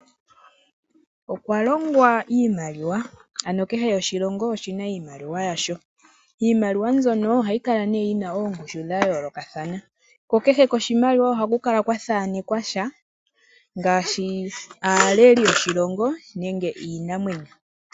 Okwa longwa iimaliwa, ano kehe oshilongo oshina iimaliwa yasho. Iimaliwa mbyono ihayikala yina oongushu dha yoolokathana kokehe koshimaliwa ohakukala kwathanekwa sha ngaashi aaleli yoshilongo nenge iinamwenyo.